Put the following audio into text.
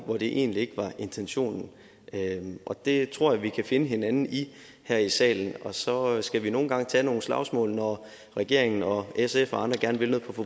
hvor det egentlig ikke var intentionen og det tror jeg vi kan finde hinanden i her i salen og så skal vi nogle gange tage nogle slagsmål når regeringen og sf og andre gerne vil